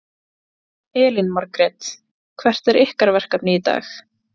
Elín Margrét: Hvert er ykkar verkefni í dag?